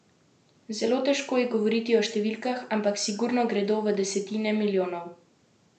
Zelo težko je govoriti o številkah, ampak sigurno gredo v desetine milijonov.